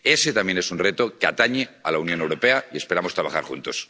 Ese también es un reto que atañe a la Unión Europea y esperamos trabajar juntos.